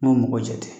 N'o mɔgɔ jate